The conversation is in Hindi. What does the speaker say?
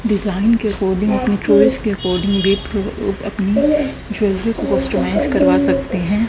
डिजाइन के अकॉर्डिंग अपने चॉइस के अकॉर्डिंग अपनी ज्वेलरी को कॉस्टेमाइज़ करवा सकते है।